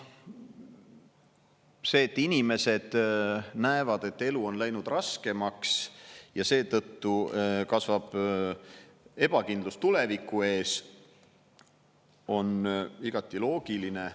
See, et inimesed näevad, et elu on läinud raskemaks ja seetõttu kasvab ebakindlus tuleviku ees, on igati loogiline.